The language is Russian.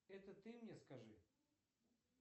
это ты мне скажи